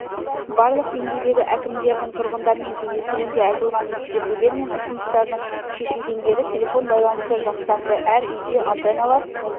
барлық деңгейдегі әкімдердің тұрғындармен кездесуінде айтылған ескертулер мен ұсыныстардың шешілгендері телефон байланысы жақсарды әр үйде антеналар